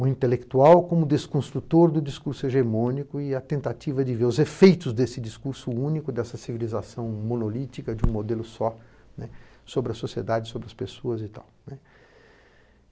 o intelectual como desconstrutor do discurso hegemônico e a tentativa de ver os efeitos desse discurso único, dessa civilização monolítica de um modelo só sobre a sociedade, sobre as pessoas e tal.